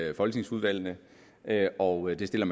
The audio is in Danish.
i folketingsudvalgene og det stiller